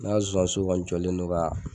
Ne y'a zonzanninso kɔni jɔlen don ka